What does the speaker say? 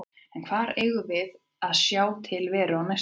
En hvar eigum við eftir að sjá til Veru á næstunni?